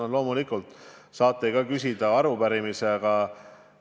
Eks te loomulikult saate ka seda küsida arupärimise raames.